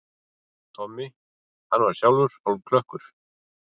Tommi, hann var sjálfur hálfklökkur.